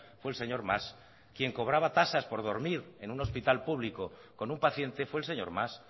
fue el señor mas quien cobraba tasas por dormir en un hospital público con un paciente fue el señor mas